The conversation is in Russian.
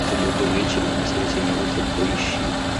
в субботу вечером в воскресенье утром поищи